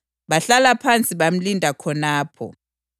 Bahlala phansi bamlinda khonapho.